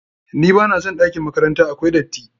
NBa na son ɗakin makranta, akwai datti.